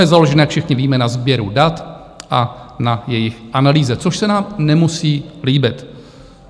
Je založen, jak všichni víme, na sběru dat a na jejich analýze, což se nám nemusí líbit.